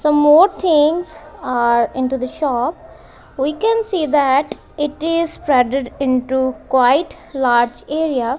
some more things are into the shop we can see that it is spreaded into quite large area.